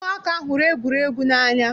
Ụmụaka hụrụ egwuregwu n'anya.